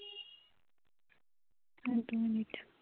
আর দু মিনিট